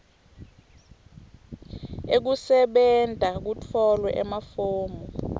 ekusebenta kutfolwe emafomu